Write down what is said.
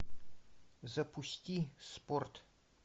запусти спорт